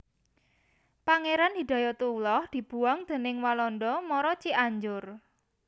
Pangéran Hidayatullah dibuang déning Walanda mara Cianjur